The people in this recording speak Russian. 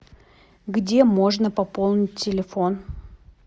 где можно пополнить телефон